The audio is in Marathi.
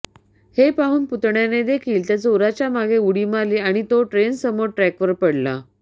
हे पाहून पुतण्यानेदेखील त्या चोराच्या मागे उडी मारली आणि तो ट्रेनसमोर ट्रॅकवर पडला